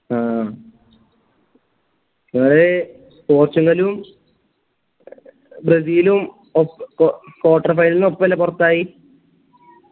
ആ നിങ്ങളീ പോർച്ചുഗലും ബ്രസീലും കോ കോ quarter finel ഒപ്പല്ലേ പൊർത്തായി